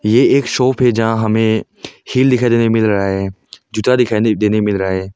ये एक शॉप है जहां हमें हिल दिखाई देने को मिल रहा है जूता दिखाई देने को मिल रहा है।